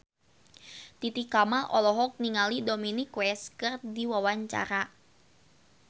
Titi Kamal olohok ningali Dominic West keur diwawancara